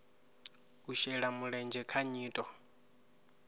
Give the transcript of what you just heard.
u shela mulenzhe kha nyito